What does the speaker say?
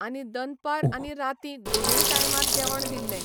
आनी दनपार आनी राती दोनूय टायमार जेवण दिल्ले